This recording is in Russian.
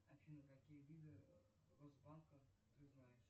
афина какие виды росбанка ты знаешь